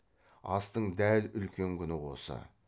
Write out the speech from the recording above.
астың дәл үлкен күні осы